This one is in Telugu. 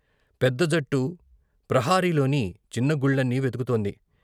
పెద్ద జట్టు ప్రహరీలోని చిన్న గుళ్ళన్నీ వెతుకుతోంది.